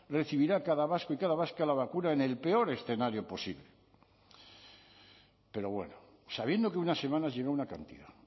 recibirá cada vasco y cada vasca la vacuna en el peor escenario posible pero bueno sabiendo que unas semanas llega una cantidad